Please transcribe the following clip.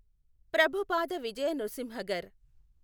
Prabhupada Vijaya Nrisimhaghar.